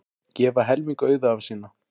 Gefa helming auðæfa sinna